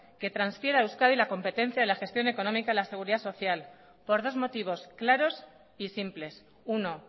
que transfiera a euskadi la competencia de la gestión económica de la seguridad social por dos motivos claros y simples uno